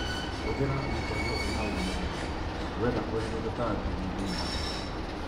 Hũthĩra mĩtego ĩna ũmũndũ wenda kweheria tũtambi nyũmbainĩ ya mbũkũ